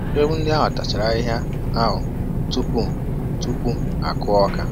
Ewu ndị ahụ tachara ahịhịa ahụ tupu tupu a kụọ ọka